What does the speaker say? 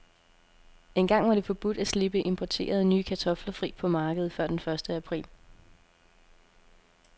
Engang var det forbudt at slippe importerede, nye kartofler fri på markedet før den første april.